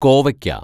കോവയ്ക്ക